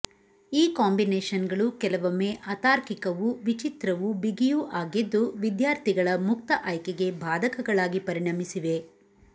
ಈ ಕಾಂಬಿನೇಶನ್ನಗಳು ಕೆಲವೊಮ್ಮೆ ಅತಾರ್ಕಿಕವೂ ವಿಚಿತ್ರವೂ ಬಿಗಿಯೂ ಆಗಿದ್ದು ವಿದ್ಯಾರ್ಥಿಗಳ ಮುಕ್ತ ಆಯ್ಕೆಗೆ ಬಾಧಕಗಳಾಗಿ ಪರಿಣಮಿಸಿವೆ